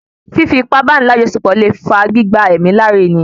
Fífi ipá báni lajọsepọ le fa gbígba èémí lára èèyàn